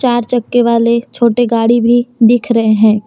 चार चक्के वाले छोटे गाड़ी भी दिख रहे हैं।